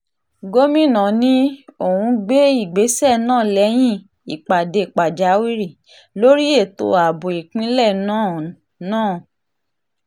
gomina ní òún gbé ìgbésẹ̀ náà lẹ́yìn ìpàdé pàjáwìrì lórí ètò ààbò ìpínlẹ̀ náà náà